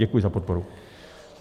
Děkuji za podporu.